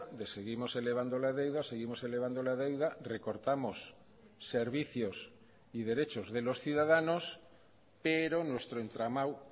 de seguimos elevando la deuda seguimos elevando la deuda recortamos servicios y derechos de los ciudadanos pero nuestro entramado